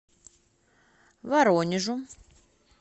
воронежу